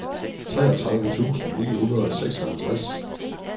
treogtredive tusind ni hundrede og seksoghalvtreds